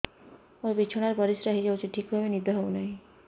ମୋର ବିଛଣାରେ ପରିସ୍ରା ହେଇଯାଉଛି ଠିକ ଭାବେ ନିଦ ହଉ ନାହିଁ